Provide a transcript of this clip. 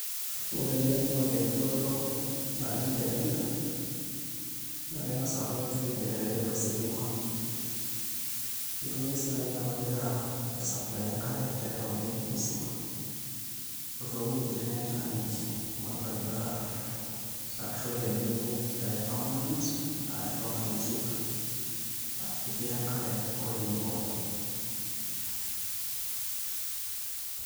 Ore ele naa orkeju oodo naleng' te Kenya naa keng'as aaku kegira aigenerate ositima nitoki ake sii naai aku kegira aisupply enkare te Nairobi musima oo toowuejitin netaaniki amu orkeju permanent arashu permanent river aa ketii enkare nkolong'i pookin.